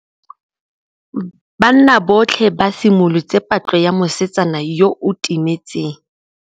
Banna botlhê ba simolotse patlô ya mosetsana yo o timetseng.